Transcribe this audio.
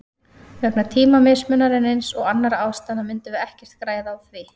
Vegna tímamismunarins og annarra ástæðna myndum við ekkert græða á því.